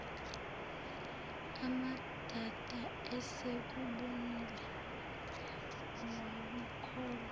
amadada esekubonile wakukholwa